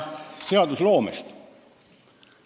Seadusloomest.